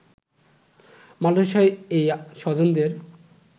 Malaysia এই স্বজনদের